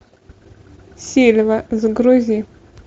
сельва загрузи